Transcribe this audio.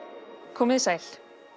komiði sæl